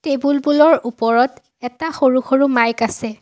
Table বোলৰ ওপৰত এটা সৰু-সৰু মাইক আছে।